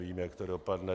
Vím, jak to dopadne.